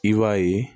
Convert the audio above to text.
I b'a ye